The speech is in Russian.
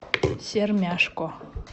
сермяжко